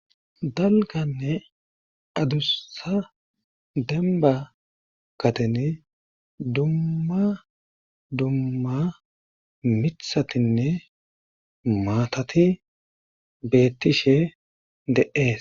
Dalganne adussa demba katene dumma dumma mithatinne maatati beettishe de7ees